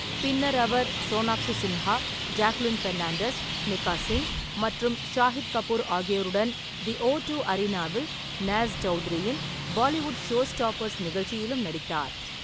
பின்னர் அவர் சோனாக்ஷி சின்ஹா, ஜாக்குலின் ஃபெர்னாண்டஸ், மிகா சிங் மற்றும் ஷாகித் கபூர் ஆகியோருடன் தி ஓ டூ அரினாவில் நாஸ் சவுத்ரியின் பாலிவுட் ஷோஸ்டாப்பர்ஸ் நிகழ்ச்சியிலும் நடித்தார்.